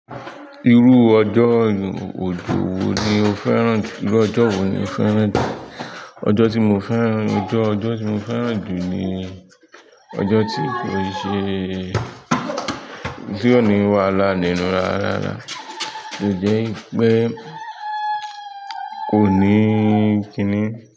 Irú ọjọ́, ojú wo ni o fẹ́ràn jù? Irú ọjọ́ wo ni o fẹ́ràn jù? Ọjọ́ tí mo fẹ́ràn, ọjọ́, ọjọ́ tí mo fẹ́ràn jù ni ọjọ́ tí kò ṣe, tí ò ní wàhálà nínú rárá. Ni jẹ́ pé kò ní kini.